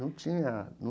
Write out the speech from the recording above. Não